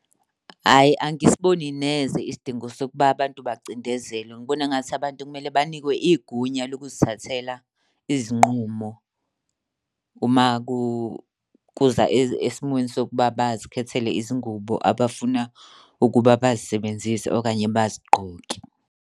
Ayi angisiboni neze isidingo sokuba abantu bacindezelwe. Ngibona engathi abantu kumele banikwe igunya lokuzithathela izinqumo uma kuza esimweni sokuba bazikhethele izingubo abafuna ukuba bazisebenzise okanye bazigqoke.